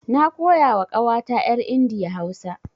Na koya wa ƙawata yar India Hausa.